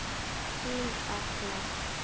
Þín Agla.